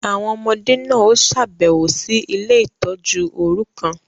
Awọn ọmọde náà o ṣabẹwo sí ile-itọju orukan